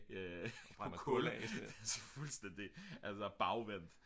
til kul altså fuldstændigt bagvendt